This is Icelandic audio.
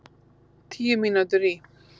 Tíu mínútur í